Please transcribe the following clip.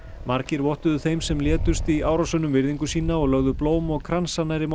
margir vottuðu þeim sem létust í árásunum virðingu sína og lögðu blóm og kransa nærri